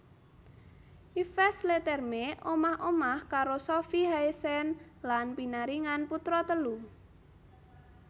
Yves Leterme omah omah karo Sofie Haesen lan pinaringan putra telu